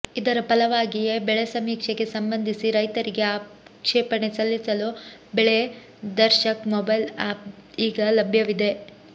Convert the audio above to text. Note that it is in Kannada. ಇದರ ಫಲವಾಗಿಯೇ ಬೆಳೆ ಸಮೀಕ್ಷೆಗೆ ಸಂಬಂಧಿಸಿ ರೈತರಿಗೆ ಆಕ್ಷೇಪಣೆ ಸಲ್ಲಿಸಲು ಬೆಳೆ ದರ್ಶಕ್ ಮೊಬೈಲ್ ಆಪ್ ಈಗ ಲಭ್ಯವಿದೆ